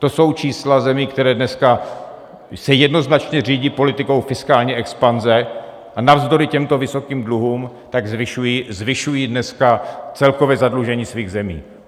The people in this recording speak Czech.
To jsou čísla zemí, které se dneska jednoznačně řídí politikou fiskální expanze, a navzdory těmto vysokým dluhům tak zvyšují dneska celkové zadlužení svých zemí.